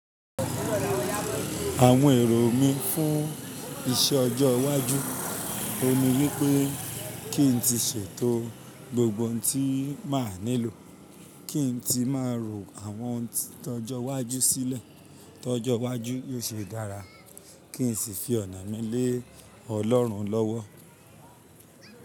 Àwọn èrò mí fún iṣẹ́ ọjọ́ iwájú, òhun ni wípé kí n tí ṣètò gbogbo ohun tí máa nílò, kí n tí má rò àwọn ìtọ́jọ́ iwájú sílẹ̀, tọ́jọ́ iwájú yóò ṣe dára, kí n sì fi ọ̀nà mi lé Ọlọ́run lọ́wọ́.